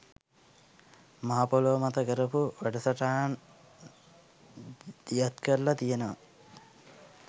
මහ පොළව මත කරපු වැඩසටහන් දියත් කරලා තියෙනවා.